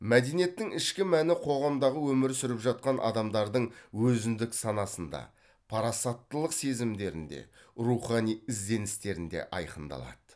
мәдениеттің ішкі мәні қоғамдағы өмір сүріп жатқан адамдардың өзіндік санасында парасаттылық сезімдерінде рухани ізденістерінде айқындалады